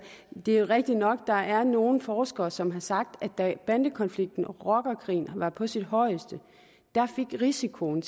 det er rigtigt nok at der er nogle forskere som har sagt at da bandekonflikten og rockerkrigen var på sit højeste fik risikoen